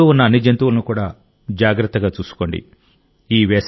మీ చుట్టూ ఉన్న అన్ని జంతువులను కూడా జాగ్రత్తగా చూసుకోండి